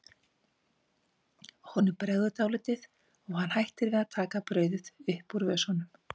Honum bregður dálítið og hann hættir við að taka brauðið upp úr vösunum.